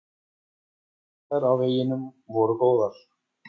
Aðstæður á veginum voru góðar.